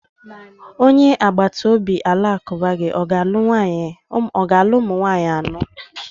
Onye agbata obi Alakụba gi ọ ga-alụ ụmụ nwaanyị anọ?